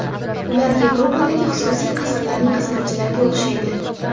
Ular Yevropadagi xususiy qasrlarning xizmatchilariga o‘xshaydi.